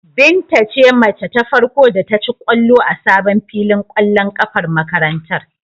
Binta ce mace ta farko da ta ci ƙwallo a sabon filin ƙwallon ƙafar makarantar.